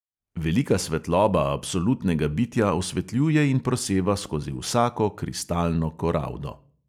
Velika svetloba absolutnega bitja osvetljuje in proseva skozi vsako kristalno koraldo.